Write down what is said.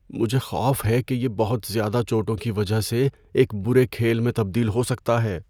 مجھے خوف ہے کہ یہ بہت زیادہ چوٹوں کی وجہ سے ایک برے کھیل میں تبدیل ہو سکتا ہے۔